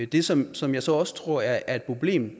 det som som jeg så også tror er et problem